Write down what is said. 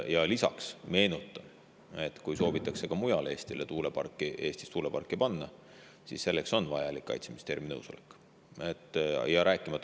Lisaks meenutan, et kui soovitakse mujal Eestis tuuleparki, siis selleks on vajalik Kaitseministeeriumi nõusolek.